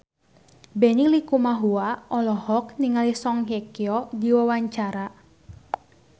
Benny Likumahua olohok ningali Song Hye Kyo keur diwawancara